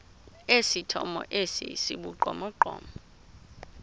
esithomo esi sibugqomogqomo